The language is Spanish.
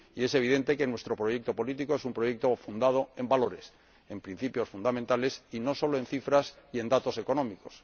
Y es evidente que nuestro proyecto político es un proyecto fundado en valores, en principios fundamentales y no solo en cifras y en datos económicos.